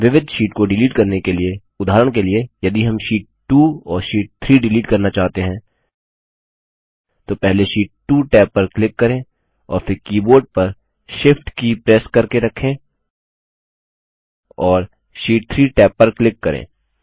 विविध शीट को डिलीट करने के लिए उदाहरण के लिए यदि हम शीट 2 और शीट 3 डिलीट करना चाहते हैं तो पहले शीट 2 टैब पर क्लिक करें और फिर कीबोर्ड पर शिफ्ट की प्रेस करके रखें और शीट 3 टैब पर क्लिक करें